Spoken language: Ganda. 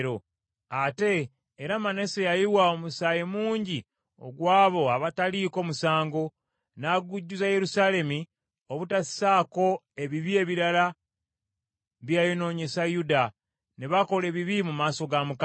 Ate, era Manase yayiwa omusaayi mungi gw’abo abataaliko musango, n’agujjuza Yerusaalemi, obutasaako ebibi ebirala bye yayonoonyesa Yuda, ne bakola ebibi mu maaso ga Mukama .